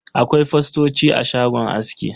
Akwai fostoci a shagon aski.